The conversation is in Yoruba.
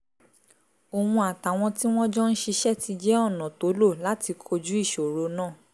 oun atawọn ti wọn jọ n ṣiṣẹ ti jẹ ọna to lo lati koju iṣoro naa